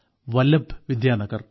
Vallabh Vidyanagar